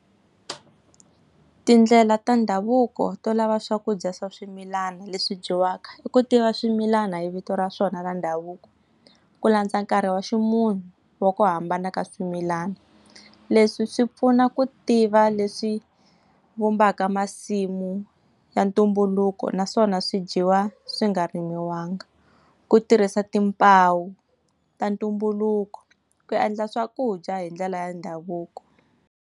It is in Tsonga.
Tindlela ta ndhavuko to lava swakudya swa swimilana leswi dyiwaka i ku tiva swimilana hi vito ra swona ra ndhavuko, ku landza nkarhi wa ximunhu wa ku hambana ka swimilana. Leswi swi pfuna ku tiva leswi vumbaka masimu ya ntumbuluko naswona swi dyiwa swi nga rimiwanga. Ku tirhisa timpawu, ta ntumbuluko, ku endla swakudya hi ndlela ya ndhavuko.